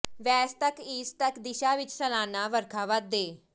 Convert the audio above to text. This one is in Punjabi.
ਵੈਸਟ ਤੱਕ ਈਸਟ ਤੱਕ ਦਿਸ਼ਾ ਵਿਚ ਸਾਲਾਨਾ ਵਰਖਾ ਵਾਧੇ